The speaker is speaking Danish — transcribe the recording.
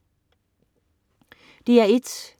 DR1: